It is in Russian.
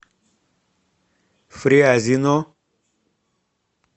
фрязино